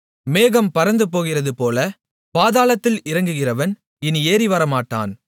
மேகம் பறந்துபோகிறதுபோல பாதாளத்தில் இறங்குகிறவன் இனி ஏறிவரமாட்டான்